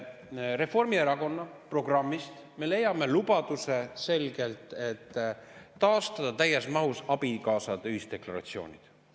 Reformierakonna programmist me leiame selgelt lubaduse taastada täies mahus abikaasade ühisdeklaratsioonid.